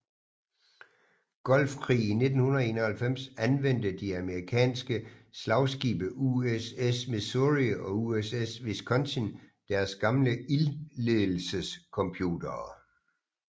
Golfkrig i 1991 anvendte de amerikanske slagskibe USS Missouri og USS Wisconsin deres gamle ildlledelsescomputere